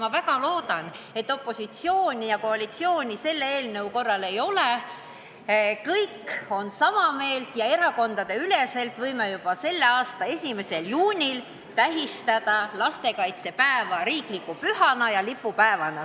Ma väga loodan, et opositsiooni ja koalitsiooni selle eelnõu menetlemisel ei ole, kõik on sama meelt ja võime erakondadeüleselt juba selle aasta 1. juunil tähistada lastekaitsepäeva riikliku püha ja lipupäevana.